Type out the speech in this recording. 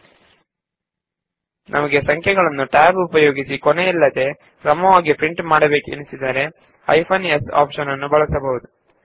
paste command tab ನಿಂದ ನಿರ್ಧರಿಸಲ್ಪಟ್ಟ ಸಂಖ್ಯೆಗಳನ್ನು ಕ್ರಮವಾಗಿ ತೋರಿಸಬೇಕೆಂದು ಇಚ್ಛಿಸಿದಲ್ಲಿ ನಾವು ಹೈಫೆನ್ s ನ್ನು ಬಳಸಬಹುದು